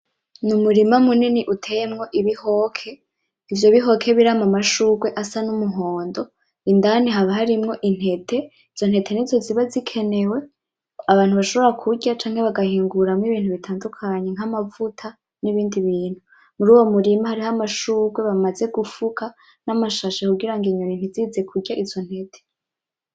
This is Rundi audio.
Ni umurima munini uteyemwo ibihoke, ivyo bihoke birama amashurwe asa n'umuhondo indani haba harimwo intete izo ntete nizo ziba zikenewe abantu bashobora kurya canke bagahinguramwo ibintu bitandukanye, nk'amavuta n'ibindi bintu muruwo murima hariho amashurwe bamaze gufuka namashashe kugira inyoni ntizize kurya izo ntete.